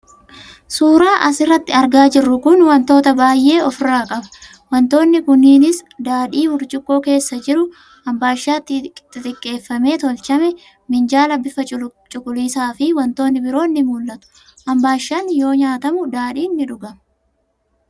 Suuraan as irratti argaa jirru kun wantoota baay'ee of irraa qaba. Wantoonni kunniinis: daadhii burcuqqoo keessa jiru, ambaashaa xixiqqeeffamee tolchame, minjaala bifa cuquliisaa fi wantoonni biroon ni mul'atu. Ambaashaan yoo ntaatamu, daadhiin ni dhugama.